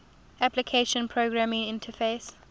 application programming interface